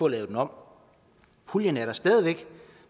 lavet den om puljen er der stadig væk